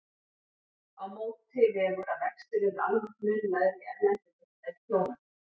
Á móti vegur að vextir eru almennt mun lægri í erlendri mynt en í krónum.